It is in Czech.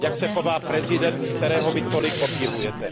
Jak se chová prezident, kterého vy tolik obdivujete.